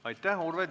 Aitäh!